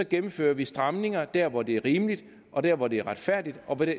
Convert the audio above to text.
gennemfører vi stramninger der hvor det er rimeligt og der hvor det er retfærdigt og hvor det